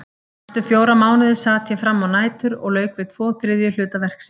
Næstu fjóra mánuði sat ég við frammá nætur og lauk við tvo þriðju hluta verksins.